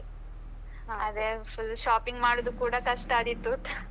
ಅದೆ shopping ಮಾಡುದು ಕೂಡ ಕಷ್ಟ ಆದೀತು